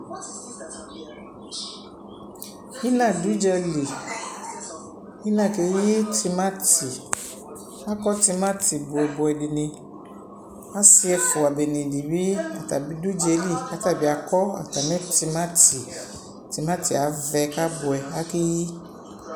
Ina du udzali ina keyi timati akɔ timati bubuɛ dini asi ɛfua dini di bi atabi du udzali ku atabi akɔ atami timati timati avɛ kabuɛ akeyi